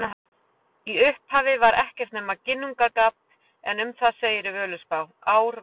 Í upphafi var ekkert nema Ginnungagap en um það segir í Völuspá: Ár var alda,